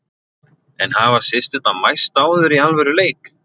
En hafa systurnar mæst áður í alvöru leik?